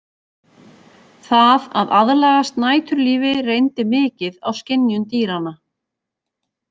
Það að aðlagast næturlífi reyndi mikið á skynjun dýranna.